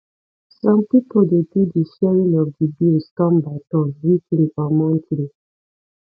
some pipo de do di sharing of di bills turn by turn weekly or monthly